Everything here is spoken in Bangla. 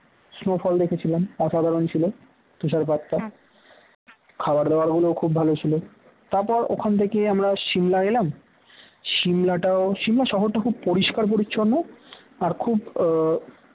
snowfall দেখেছিলাম অসাধারণ ছিল তুষার পাতটা খাবার দাবার খুব ভালো ছিল তারপর ওখান থেকে আমরা সিমলা গেলাম শিমটাও শিমলার শহরটা খুব পরিষ্কার পরিচ্ছন্ন আর খুব আহ